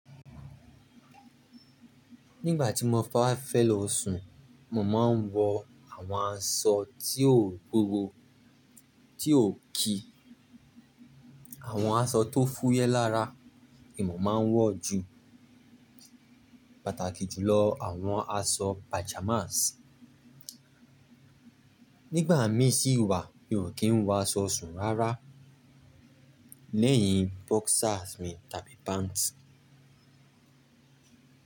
Nígbà tí mo bá fẹ́ lo sùn, mo máa ń wọ àwọn aṣọ tí ò bóró, tí ò kí. Àwọn aṣọ tó fúyẹ́ lára ni mò máa ń wọ ju, pàtàkì jùlọ àwọn aṣọ pajamas. Nígbà mí sì wà, mi ò kí ń wọ aṣọ sùn rárá, lẹ́yìn boxers mi tàbí pants.